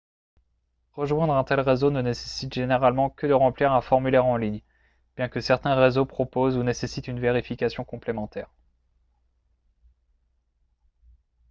rejoindre un tel réseau ne nécessite généralement que de remplir un formulaire en ligne bien que certains réseaux proposent ou nécessitent une vérification complémentaire